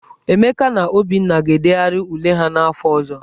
Emeka na Obinna ga-edegharị ule ahụ n'afọ ọzọ.